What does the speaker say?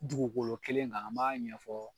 Dugukolo kelen kan an b'a ɲɛfɔ